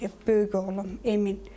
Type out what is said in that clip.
Böyük oğlum Emin.